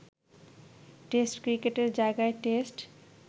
test ক্রিকেটের জায়গায় test